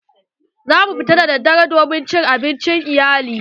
Za mu fita daddare don cin abincin iyali.